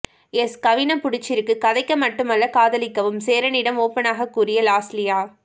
S கவின புடிச்சிருக்கு கதைக்க மட்டுமல்ல காதலிக்கவும் சேரனிடம் ஓப்பனாக கூறிய லாஸ்லியா